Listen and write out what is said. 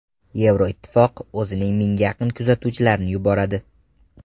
Yevroittifoq o‘zining mingga yaqin kuzatuvchilarini yuboradi.